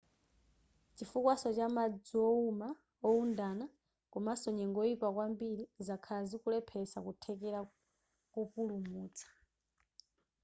chifukwaso cha madzi ouma oundana komaso nyengo yoyipa kwambiri zakhala zikulepheretsa kuthekera kopulumutsa